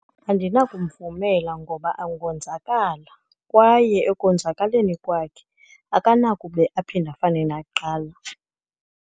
Andinakumvumela ngoba angonzakala, kwaye ekonzakaleni kwakhe akanakube aphinde afane nakuqala.